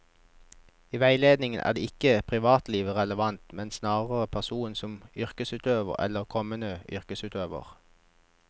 I veiledning er ikke privatlivet relevant, men snarere personen som yrkesutøver eller kommende yrkesutøver.